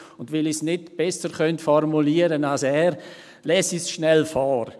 Und weil ich es nicht besser formulieren könnte als er, lese ich es schnell vor: